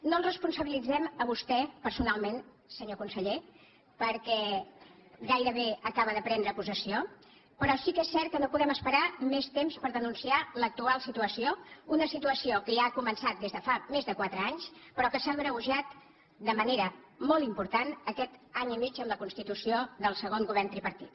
no el responsabilitzem a vostè personalment senyor conseller perquè gairebé acaba de prendre possessió però sí que és cert que no podem esperar més temps per denunciar l’actual situació una situació que ja ha començat des de fa més de quatre anys però que s’ha agreujat de manera molt important aquest any i mig amb la constitució del segon govern tripartit